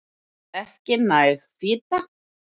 Ekki næg fita